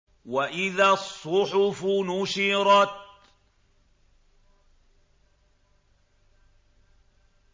وَإِذَا الصُّحُفُ نُشِرَتْ